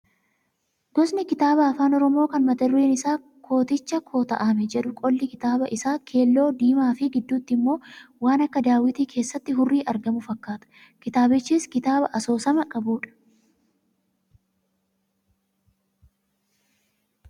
Gosni kitaabaa afaan oromoo kan mata dureen isaa "Kooticha kota'ame" jedhu qolli kitaaba isaa keelloo, diimaa fi gidduutti immoo waan akka daawwitii keessatti hurrii argamu fakkaata. Kitaabichis kitaaba asoosama qabudha.